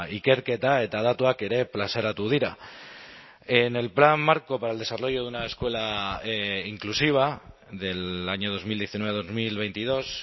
ikerketa eta datuak ere plazaratu dira en el plan marco para el desarrollo de una escuela inclusiva del año dos mil diecinueve dos mil veintidós